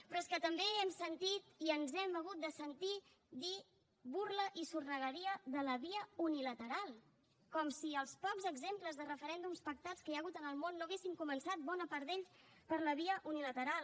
però és que també hem sentit i ens hem hagut de sentir dir burla i sornegueria de la via unilateral com si els pocs exemples de referèndums pactats que hi ha hagut en el món no haguessin començat bona part d’ells per la via unilateral